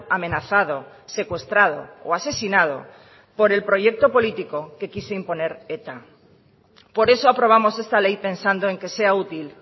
amenazado secuestrado o asesinado por el proyecto político que quiso imponer eta por eso aprobamos esta ley pensando en que sea útil